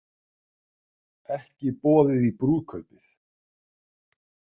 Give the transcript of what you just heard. Ekki boðið í brúðkaupið